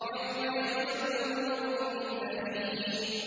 يَوْمَ يَفِرُّ الْمَرْءُ مِنْ أَخِيهِ